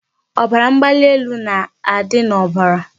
Ọbara mgbali elu na-adị n'obara.